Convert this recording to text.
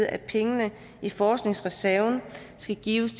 at pengene i forskningsreserven skal gives